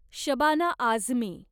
Shabana Azmi